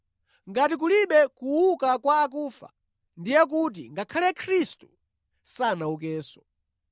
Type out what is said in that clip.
Ngati kulibe kuuka kwa akufa, ndiye kuti ngakhale Khristu sanaukenso.